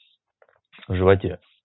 в животе